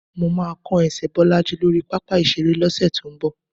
Mó máa kán ẹsẹ̀ Bọ́lájí lórí pápá ìṣeré lọ́sẹ̀ tó ń bọ̀.